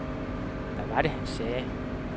Hvad var det han sagde?